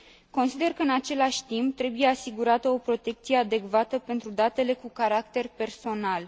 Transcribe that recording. Consider că, în același timp, trebuie asigurată o protecție adecvată pentru datele cu caracter personal.